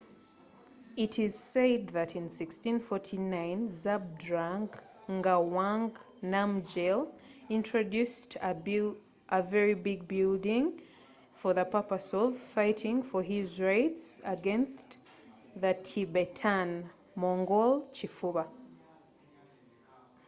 kigambibwa nti mu 1649 zhabdrung ngawang namgyel yatongozawo ekizimbe ekyali ekinene olwo kwagala okulwanilila edembelye eli aba tibetan-mongol kifuba